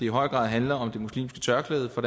i høj grad handler om det muslimske tørklæde for